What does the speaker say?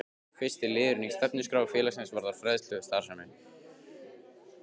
Fyrsti liðurinn í stefnuskrá félagsins varðar fræðslustarfsemi.